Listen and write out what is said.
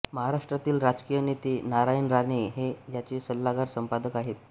महाराष्ट्रातील राजकीय नेते नारायण राणे हे याचे सल्लागार संपादक आहेत